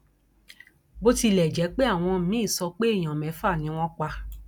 bó tilẹ jẹ pé àwọn míín sọ pé èèyàn mẹfà ni wọn pa